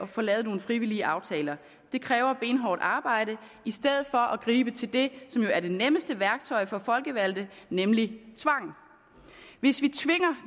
få lavet nogle frivillige aftaler det kræver benhårdt arbejde i stedet for at gribe til det som jo er det nemmeste værktøj for folkevalgte nemlig tvang hvis vi tvinger